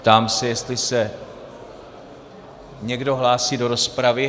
Ptám se, jestli se někdo hlásí do rozpravy.